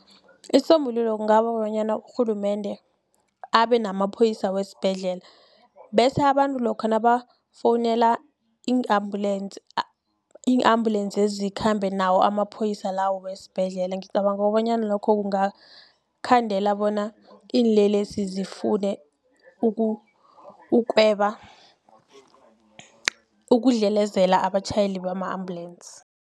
Isisombululo kungaba bonyana urhulumende abenamaphoyisa wesibhedlela bese abantu lokha nabafowunela i-ambulance, i-ambulance lezi zikhambe nawo amaphoyisa lawo wesibhedlela ngicabanga kobanyana lokho kungakhandela bona iinlelesi zifune ukweba ukudlelezela abatjhayeli bama-ambulensi.